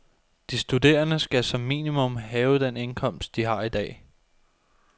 De studerende skal som minimum have den indkomst, de har i dag.